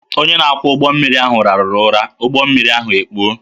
Onye na-akwọ ụgbọ mmiri ahụ rahụrụ ụra, ụgbọ mmiri ahụ ekpuo